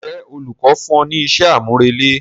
Ǹjẹ́ olùkọ́ fún ọ ní iṣẹ́ àmúrelé?